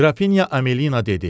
Qrafinya Amelina dedi: